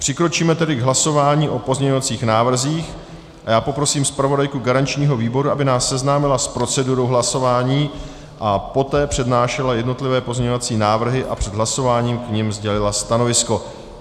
Přikročíme tedy k hlasování o pozměňovacích návrzích a já poprosím zpravodajku garančního výboru, aby nás seznámila s procedurou hlasování a poté přednášela jednotlivé pozměňovací návrhy a před hlasováním k nim sdělila stanovisko.